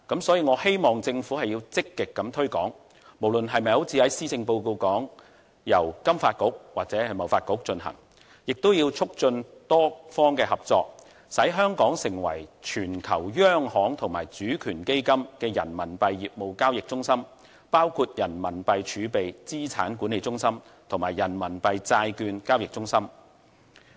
所以，我希望政府積極推廣，不論是否由施政報告所提到的金發局或是由香港貿易發展局進行，也要促進多方合作，使香港成為全球央行及主權基金的人民幣業務交易中心，包括人民幣儲備資產管理中心及人民幣債券交易中心。